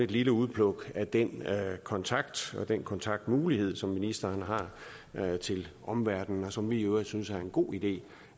lille udpluk af den kontakt og den kontaktmulighed som ministeren har til omverdenen og som vi i øvrigt synes er en god idé